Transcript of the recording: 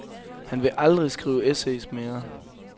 Han vil aldrig skrive essays mere.